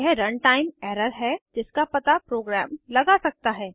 यह run time error है जिसका पता प्रोग्राम लगा सकता है